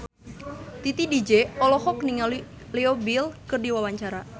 Titi DJ olohok ningali Leo Bill keur diwawancara